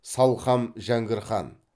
салқам жәңгір хан